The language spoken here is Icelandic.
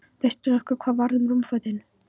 Veistu nokkuð hvað varð um rúmfötin?